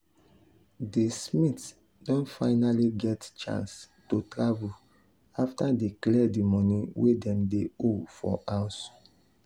di smiths don finally get chance to travel after dey clear di money wey dem dey owe for house.